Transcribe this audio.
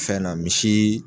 Fɛn na misi